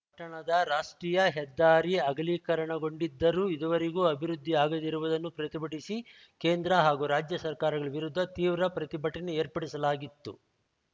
ಪಟ್ಟಣದ ರಾಷ್ಟ್ರೀಯ ಹೆದ್ದಾರಿ ಅಗಲೀಕರಣಗೊಂಡಿದ್ದರೂ ಇದುವರೆಗೂ ಅಭಿವೃದ್ಧಿ ಆಗದಿರುವುದನ್ನು ಪ್ರತಿಭಟಿಸಿ ಕೇಂದ್ರ ಹಾಗೂ ರಾಜ್ಯ ಸರ್ಕಾರಗಳ ವಿರುದ್ಧ ತೀವ್ರ ಪ್ರತಿಭಟನೆ ಏರ್ಪಡಿಸಲಾಗಿತ್ತು